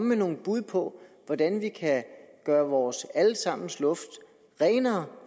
med nogle bud på hvordan vi kan gøre vores alle sammens luft renere